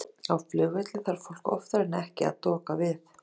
Bara nokkuð vel.